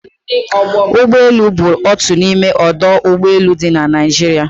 Ụgbọ elu Enugu bụ otu n'ime ọdụ ụgbọ elu dị na Naịjirịa